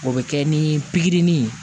O bɛ kɛ ni pikiri nin ye